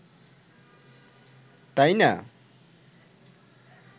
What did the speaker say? তাই না?